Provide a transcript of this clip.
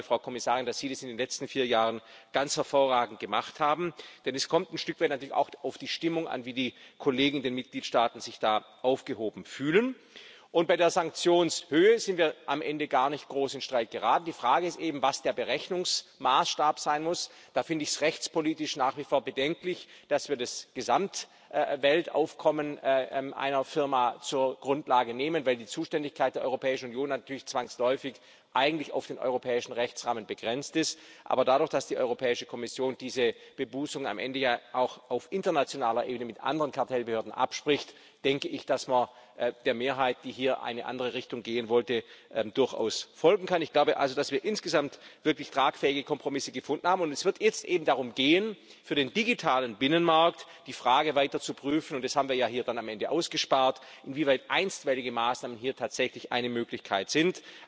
Ich glaube, Frau Kommissarin, dass Sie das in den letzten vier Jahren ganz hervorragend gemacht haben. Denn es kommt ein Stück weit natürlich auch auf die Stimmung an, wie die Kollegen in den Mitgliedstaaten sich da aufgehoben fühlen. Bei der Sanktionshöhe sind wir am Ende gar nicht groß in Streit geraten. Die Frage ist eben, was der Berechnungsmaßstab sein muss. Da finde ich es rechtspolitisch nach wie vor bedenklich, dass wir das Gesamtweltaufkommen einer Firma zur Grundlage nehmen, weil die Zuständigkeit der Europäischen Union natürlich zwangsläufig eigentlich auf den europäischen Rechtsrahmen begrenzt ist. Aber dadurch, dass die Europäische Kommission diese Bebußung am Ende ja auch auf internationaler Ebene mit anderen Kartellbehörden abspricht, denke ich, dass man der Mehrheit, die hier eine andere Richtung gehen wollte, durchaus folgen kann. Ich glaube also, dass wir insgesamt wirklich tragfähige Kompromisse gefunden haben. Es wird jetzt eben darum gehen, für den digitalen Binnenmarkt die Frage weiter zu prüfen das haben wir ja hier am Ende ausgespart inwieweit einstweilige Maßnahmen hier tatsächlich eine Möglichkeit